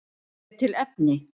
Er til efni?